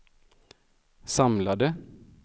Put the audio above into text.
samlade